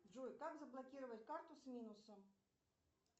джой как заблокировать карту с минусом